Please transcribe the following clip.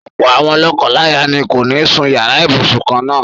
Ọ̀pọ̀ àwọn lọ́kọláya ni kò ní sún yàrá ibùsùn kan-ná-àn.